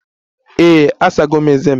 Ee, asago m ezé m.